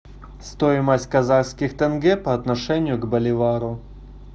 стоимость казахских тенге по отношению к боливару